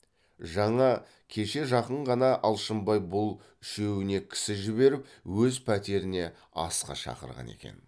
жаңа кеше жақын ғана алшынбай бұл үшеуіне кісі жіберіп өз пәтеріне асқа шақырған екен